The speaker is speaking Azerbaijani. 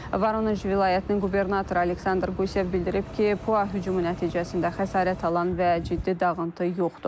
Voronej vilayətinin qubernatoru Aleksandr Qusev bildirib ki, PUA hücumu nəticəsində xəsarət alan və ciddi dağıntı yoxdur.